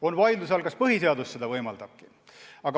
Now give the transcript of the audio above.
On vaidluse all, kas põhiseaduski seda võimaldab.